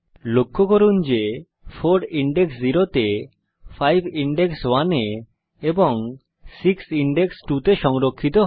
লক্ষ্য করুন 4 ইনডেক্স 0 তে 5 ইনডেক্স 1 এ এবং 6 ইনডেক্স 2 তে সংরক্ষিত হবে